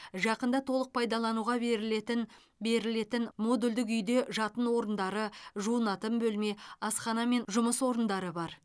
жақында толық пайдалануға берілетін берілетін модульдік үйде жатын орындары жуынатын бөлме асхана мен жұмыс орындары бар